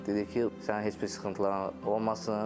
Dedi ki, sənin heç bir sıxıntın olmasın.